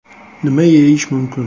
Nima yeyish mumkin?